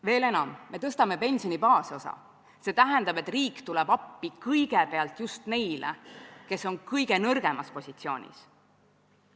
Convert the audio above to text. Veel enam, me tõstame pensioni baasosa, see tähendab, et riik tuleb appi kõigepealt just neile, kes on kõige nõrgemas positsioonis.